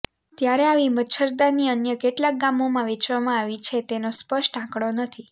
ત્યારે આવી મચ્છરદાની અન્ય કેટલાક ગામોમાં વેચવામાં આવી છે તેનો સ્પષ્ટ આંકડો નથી